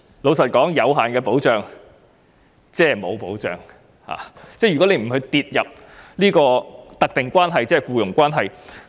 坦白說，有限的保障即是沒有保障，並不屬於"特定關係"的定義。